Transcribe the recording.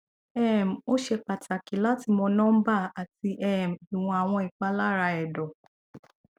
um o ṣe pataki lati mọ nọmba ati um iwọn awọn ipalara ẹdọ